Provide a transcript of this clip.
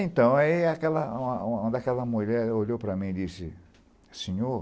Então, ai aquela uma uma daquela mulher olhou para mim e disse, senhor,